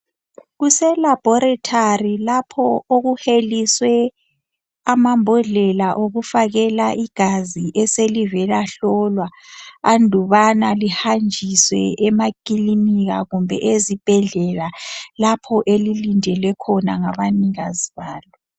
Kuselabhorethari lapho okuheliswe amambodlela okufakela igazi eselivela hlolwa andubana lihanjiswe emakilinika kumbe ezibhedlela lapho elilindelwe khona ngabanikazi balo.